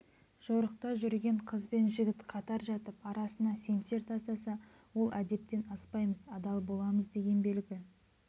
жорықта жүрген қыз бен жігіт қатар жатып арасына семсер тастаса ол әдептен аспаймыз адал боламыз деген белгі